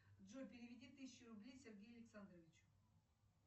джой переведи тысячу рублей сергею александровичу